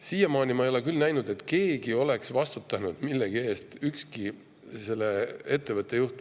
Siiamaani ma ei ole küll näinud, et keegi, ükski selle ettevõtte juht, oleks millegi eest vastutanud.